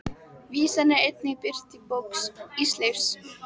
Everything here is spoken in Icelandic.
Vísan er einnig birt í bók Ísleifs